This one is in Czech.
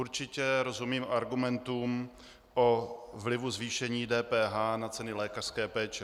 Určitě rozumím argumentům o vlivu zvýšení DPH na ceny lékařské péče.